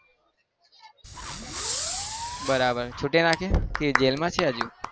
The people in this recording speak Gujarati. બરાબર. છુટી નાખ્યા કે જેલમાં જ છે હજુ?